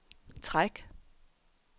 træk